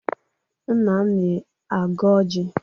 Nna m na-agọ ọjị.